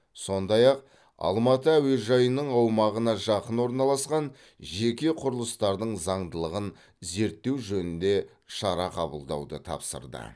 сондай ақ алматы әуежайының аумағына жақын орналасқан жеке құрылыстардың заңдылығын зерттеу жөнінде шара қабылдауды тапсырды